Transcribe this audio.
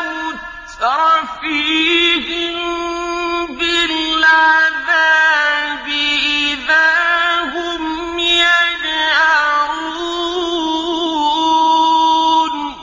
مُتْرَفِيهِم بِالْعَذَابِ إِذَا هُمْ يَجْأَرُونَ